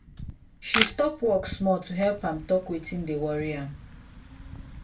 she stop work small to help am talk wetin dey worry am